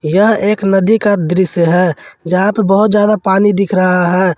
यह एक नदी का दृश्य है जहां पे बहुत ज्यादा पानी दिख रहा है।